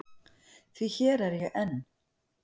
Því hér er ég enn.